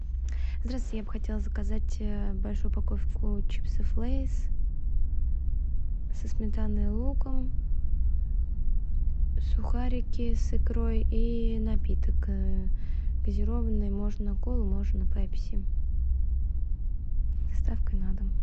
здравствуйте я бы хотела заказать большую упаковку чипсов лейс со сметаной и луком сухарики с икрой и напиток газированный можно колу можно пепси с доставкой на дом